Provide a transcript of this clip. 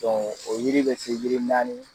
o yiri be se yiri naani